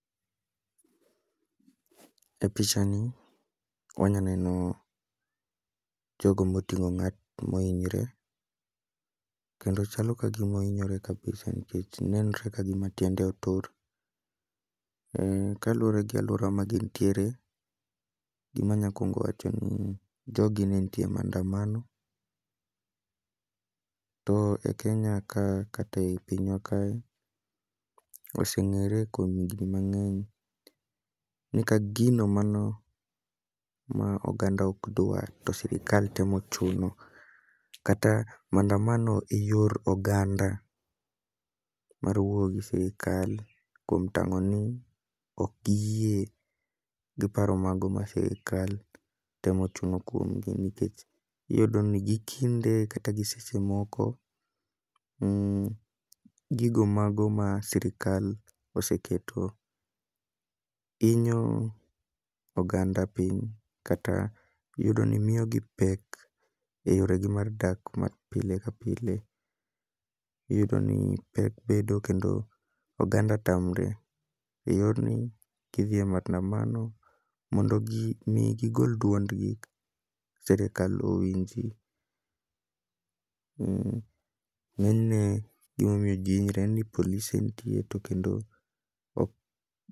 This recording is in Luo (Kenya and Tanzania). E picha ni wanya neno jogo moting'o ng'at moinyre, kendo chalo ka gima oinyore kabisa nikech nenre ka gima tiende otur. Kaluwore gi alwora ma ginntiere, gima nyakwongo wacho en ni jogi ne ntie e maandamano. To e Kenya ka kate i pinywa kae, ose ng'ere kuom higni mang'eny ni ka gino mano ma oganda ok dwa to sirikal temo chuno. kata maandamano e yor oganda mar wuoyo gi sirikal kuom tang'o ni ok giyie gi paro mago sirikal temo chuno kuom gi. Nikech iyudo ni gi kinde kata gi seche moko, gigo mago ma sirikal oseketo, inyo oganda piny kata iyudo ni miyo gi pek e yore gi mar dak ma pile ka pile. Iyudo ni pek bedo kendo oganda tamre e yorni gidhiye maandamano mondo gi mi gigol duond gi serekal owinji. Ng'eny ne gimomiyo ji hinyre en ni polise ntie to kendo ok.